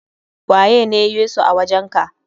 Waye ne Yesu a wajen ka?